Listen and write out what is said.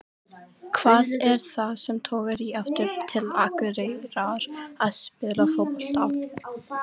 Hvað er það sem togar í þig aftur til Akureyrar að spila fótbolta?